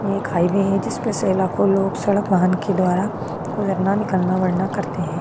यह एक हाईवे है जिस पे से लाखों लोग सड़क वाहन के द्वारा गुजरना निकलना करते हैं।